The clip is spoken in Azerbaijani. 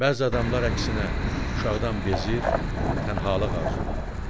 bəzi adamlar əksinə, uşaqdan bezir, tənhalıq arzulayırdılar.